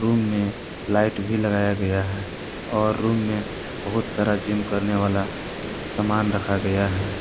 Room में light भी लगाया गया है और रूम में बहुत सारा जिम करने वाला सामान रखा गया है।